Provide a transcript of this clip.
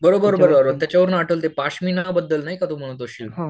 बरोबर बरोबर त्याच्यावरनं आठवलं ते पश्मिना बद्दल नाही का तू म्हणत असशील.